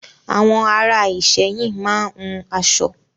Àwọn ará Ìsẹ́yìn máa ń hun aṣọ.